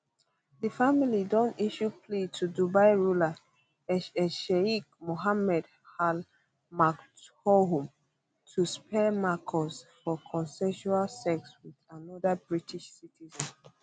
di family don issue plea to dubai ruler hh sheikh mohammed al maktoum to spare marcus for consensual sex wit anoda british citizen